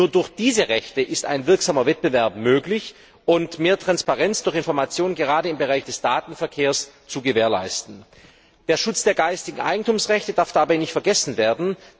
Nur durch diese Rechte ist ein wirksamer Wettbewerb möglich, um mehr Transparenz durch Informationen gerade im Bereich des Datenverkehrs zu gewährleisten. Der Schutz der Rechte des geistigen Eigentumsrechte darf dabei nicht vergessen werden.